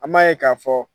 An m'a ye k'a fɔ